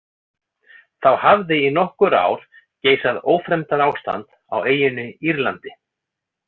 Þá hafði í nokkur ár geisað ófremdarástand á eyjunni Írlandi.